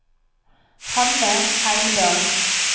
Hanne Heimdal